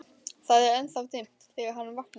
Það er ennþá dimmt þegar hann vaknar.